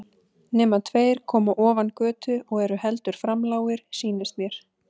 Nema tveir koma ofan götu og eru heldur framlágir, sýnist mér.